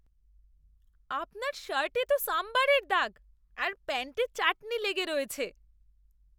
আপনার শার্টে তো সম্বরের দাগ আর প্যান্টে চাটনি লেগে রয়েছে!